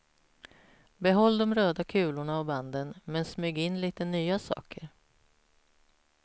Behåll de röda kulorna och banden, men smyg in lite nya saker.